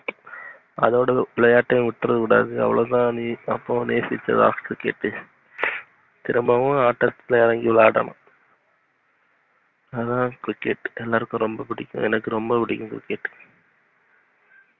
அதோட விளையாட்டுவிட்டுரக்கூடாது. அவ்ளோதான் நீ அப்போ நேசிச்ச last cricket திரும்பவும் ஆட்டத்துல இறங்கி விளையாடனும். அதான் cricket எல்லாருக்கும் ரொம்ப புடிக்கும் எனக்கு ரொம்ப புடிக்கும் cricket.